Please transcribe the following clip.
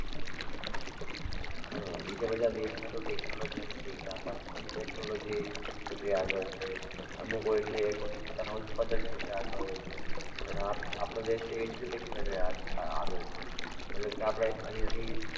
હમ બીજા બધા દેશ માં તો technology ને લીધે આગળ છે, અમુક technology ને લીધે આગળ છે, અમુક હોય છે પોતાના ઉત્પાદન ક્ષેત્રે આગળ હોય છે, પણ આપણો દેશ એ education ને લીધે આગળ છે, મતલબ કે આપણે અહિયાંથી